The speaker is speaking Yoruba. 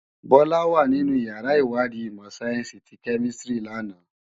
Bola wá ninú iyàrá iwàdí imò sáyènsí ti Kèmisitiri làná